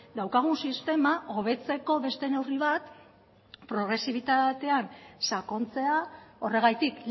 daukagun sistema hobetzeko beste neurri bat progresibitatean sakontzea horregatik